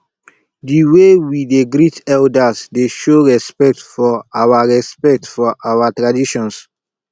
di way we dey greet elders dey show respect for our respect for our traditions